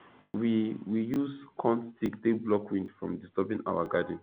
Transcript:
we we use corn stick take block wind from disturbing our garden